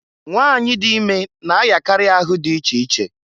Nwanyị dị ime na-ayakarị ahụ dị iche iche.